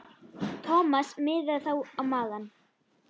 Thomas miðaði þá á magann.